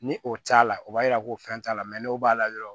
Ni o t'a la o b'a yira ko fɛn t'a la n'o b'a la dɔrɔn